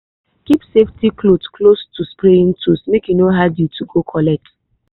keep safety cloth close to spraying tools make e no hard you to go collect